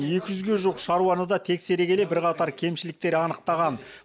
екі жүзге жуық шаруаны да тексере келе бірқатар кемшіліктер анықтаған